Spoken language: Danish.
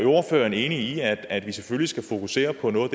ordføreren enig i at vi selvfølgelig skal fokusere på noget